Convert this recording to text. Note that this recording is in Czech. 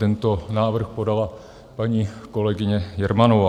Tento návrh podala paní kolegyně Jermanová.